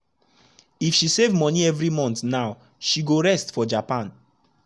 if she save money every month now she go rest for japan.